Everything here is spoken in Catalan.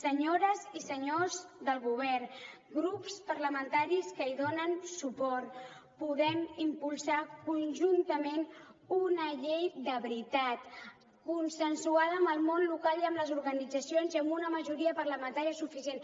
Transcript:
senyores i senyors del govern grups parlamentaris que hi donen suport podem impulsar conjuntament una llei de veritat consensuada amb el món local i amb les organitzacions i amb una majoria parlamentària suficient